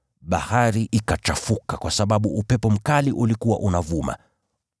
Bahari ikachafuka kwa sababu upepo mkali ulikuwa unavuma.